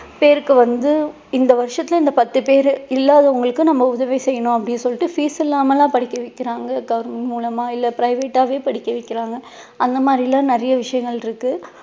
பேருக்கு வந்து இந்த வருஷத்துல இந்த பத்து பேரு இல்லாதவங்களுக்கு நம்ம உதவி செய்யணும் அப்படி சொல்லிட்டு fees இல்லாம எல்லாம் படிக்க வைக்கிறாங்க government மூலமா இல்ல private ஆவே படிக்க வைக்கிறாங்க அந்த மாதிரிலாம் நிறைய விஷயங்கள் இருக்கு